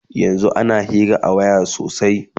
yanzun ana Hira a waya sosai